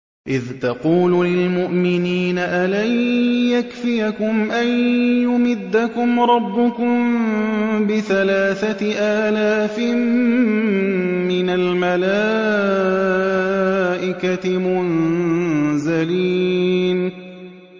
إِذْ تَقُولُ لِلْمُؤْمِنِينَ أَلَن يَكْفِيَكُمْ أَن يُمِدَّكُمْ رَبُّكُم بِثَلَاثَةِ آلَافٍ مِّنَ الْمَلَائِكَةِ مُنزَلِينَ